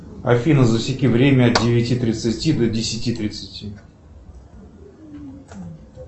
афина засеки время от девяти тридцати до десяти тридцати